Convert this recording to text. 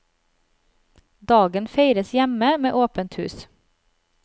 Dagen feires hjemme med åpent hus.